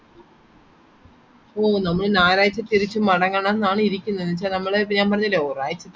ഓ നമ്മൾ ഞാറാഴ്ച തിരിച് മടങ്ങണം ന്ന് ആണ് ഇരിക്കുന്നത് എന്താന്നുവച്ചാൽ ഞാൻ പറഞ്ഞില്ലേ നമ്മൾ ഒരാഴ്ചത്തെ leave മെത്രാന് കിട്ടിയെ